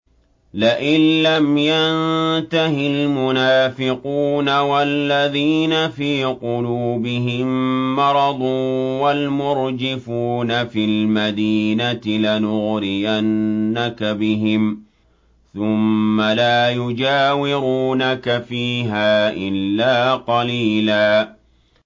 ۞ لَّئِن لَّمْ يَنتَهِ الْمُنَافِقُونَ وَالَّذِينَ فِي قُلُوبِهِم مَّرَضٌ وَالْمُرْجِفُونَ فِي الْمَدِينَةِ لَنُغْرِيَنَّكَ بِهِمْ ثُمَّ لَا يُجَاوِرُونَكَ فِيهَا إِلَّا قَلِيلًا